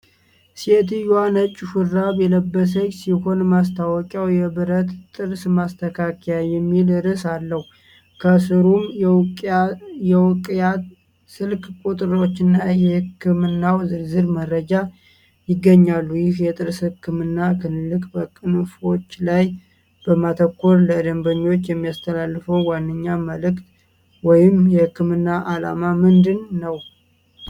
ሴትየዋ ነጭ ሹራብ የለበሰች ሲሆን፣ ማስታወቂያው "የብረት ጥርስ ማስተካከያ" የሚል ርዕስ አለው፤ ከሥሩም የእውቂያ ስልክ ቁጥሮችና የሕክምናው ዝርዝር መረጃዎች ይገኛሉ። ይህ የጥርስ ህክምና ክሊኒክ በቅንፎችላይ በማተኮር ለደንበኞች የሚያስተላልፈው ዋነኛ መልዕክት ወይም የሕክምና ዓላማ ምንድን ነው?